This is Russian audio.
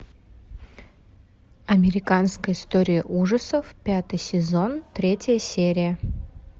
американская история ужасов пятый сезон третья серия